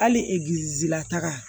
Hali la taga